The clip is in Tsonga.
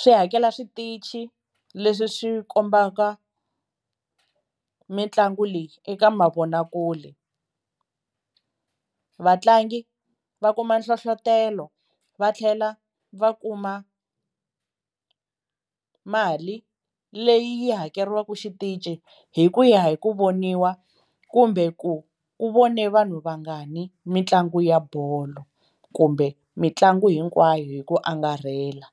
Swi hakela switichi leswi swi kombaka mitlangu leyi eka mavonakule, vatlangi va kuma nhlohlotelo va tlhela va kuma mali leyi hakeriwaka xitici hi ku ya hi ku voniwa kumbe ku ku vone vanhu vangani mitlangu ya bolo kumbe mitlangu hinkwayo hi ku angarhela.